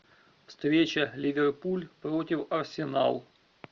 встреча ливерпуль против арсенал